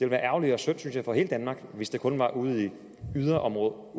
være ærgerligt og synd for hele danmark hvis det kun var ude i et yderområde